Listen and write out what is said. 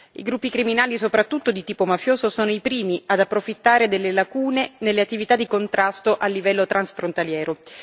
I gruppi criminali, soprattutto di tipo mafioso, sono i primi ad approfittare delle lacune nelle attività di contrasto a livello transfrontaliero.